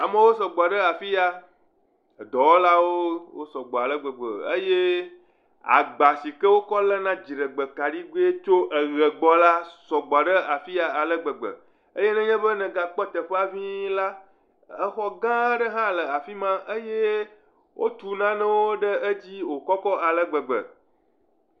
Amewo sɔgbɔ ɖe afiya. Edɔwɔlawo sɔ gbɔ ale gbe eye agba si wokɔ le dziɖegbae kaɖi la sɔgbɔ ɖe afiya ale gbegbe eye ne nye be egakpɔ teƒea ƒii la, exɔ gã ɖe hã le afima eye wòtu nane wò kɔkɔ ale gbegbe.